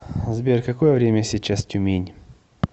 сбер какое время сейчас тюмень